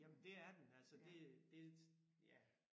Jamen det er den altså det øh det ja